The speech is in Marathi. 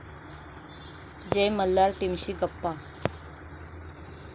जय मल्हार' टीमशी गप्पा